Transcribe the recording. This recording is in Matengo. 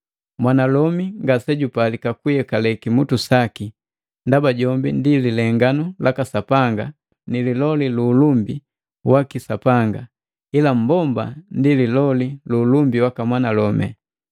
Mwanalomi ngasejupalika kuyekale kimutu saki, ndaba jombi ndi lilenganu laka Sapanga ni liloli lu ulumbi waki Sapanga, ila mmbomba ndi liloli lu ulumbi waka mwanalomi.